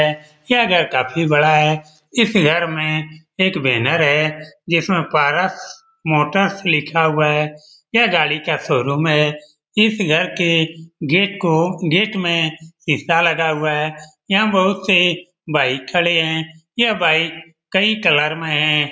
यह घर काफ़ी बड़ा है इस घर में एक बैनर है जिसमें पारस मोटर्स लिखा हुआ है यह गाड़ी का शोरूम है इस घर के गेट को गेट में शीशा लगा हुआ है यहाँ बहुत से बाइक खड़े हैं यह बाइक कई कलर में हैं।